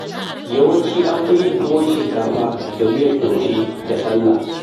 Yawanci an fi yin tuwon shinkafa da miyar taushe da sallah.